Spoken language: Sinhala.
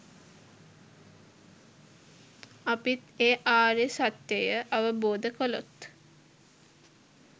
අපිත් ඒ ආර්ය සත්‍යය අවබෝධ කළොත්